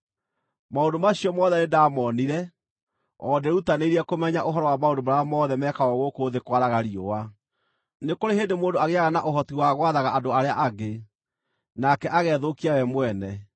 Maũndũ macio mothe nĩndamoonire, o ndĩĩrutanĩirie kũmenya ũhoro wa maũndũ marĩa mothe mekagwo gũkũ thĩ kwaraga riũa. Nĩ kũrĩ hĩndĩ mũndũ agĩĩaga na ũhoti wa gwathaga andũ arĩa angĩ, nake agethũkia we mwene.